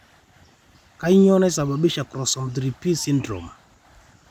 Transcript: kanyioo naisababisha Chromosome 3p syndrome?